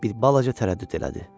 Bir balaca tərəddüd elədi.